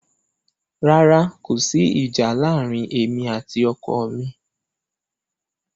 Rárá, kò sí ìjà láàárín èmi àti ọkọ mi.